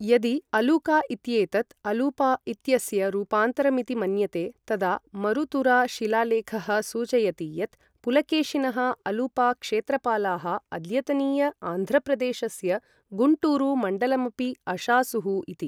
यदि अलूका इत्येतत् अलूपा इत्यस्य रूपान्तरमिति मन्यते, तदा मरुतुरा शिलालेखः सूचयति यत् पुलकेशिनः अलूपा क्षेत्रपालाः अद्यतनीय आन्ध्रप्रदेशस्य गुण्टूरु मण्डलमपि अशासुः इति।